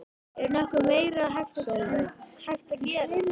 Er nokkuð meira hægt að gera?